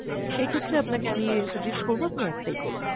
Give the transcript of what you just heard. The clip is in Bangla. সেই ক্ষেত্রে আপনাকে আমি suggest করব আপনি একটাই করুন।